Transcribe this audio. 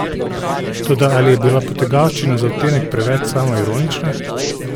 Toda ali je bila potegavščina za odtenek preveč samoironična?